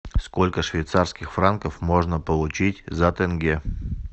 сколько швейцарских франков можно получить за тенге